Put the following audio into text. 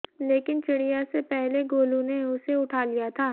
लेकिन चिड़िया से पहले गोलू ने उसे उठा लिया था